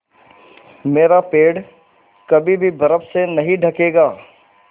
मेरा पेड़ कभी भी बर्फ़ से नहीं ढकेगा